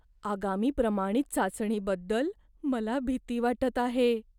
आगामी प्रमाणित चाचणीबद्दल मला भीती वाटत आहे.